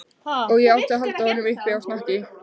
Og ég átti að halda honum uppi á snakki!